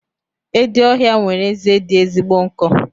Edi ọhịa nwere eze dị ezigbo nkọ.